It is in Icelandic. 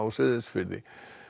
Seyðisfirði